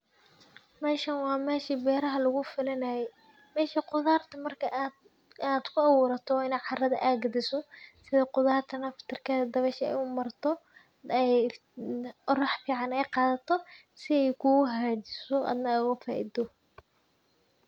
Meeshan waa meesha beeraha lagu falanaayay. meesha khudaarta marka aad-aad ku abuurato ina carada aagga dhisoo, sidoo khudaarta naftarkeeda dabaysha ay u marto, ay orax fiican ay qaadato sii kuu haajisoo adhna aagoo faa-ido.